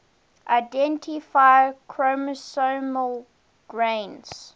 identify chromosomal gains